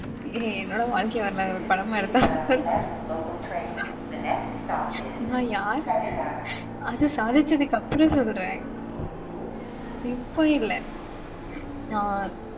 ஏய் என்னோட வாழ்கை வரலாற ஒரு படமா எடுத்தா நல்லா இருக்கும் நான் யாரு? அது சாதிச்சதுக்கு அப்பறம் சொல்றேன் இப்போ இல்ல அஹ்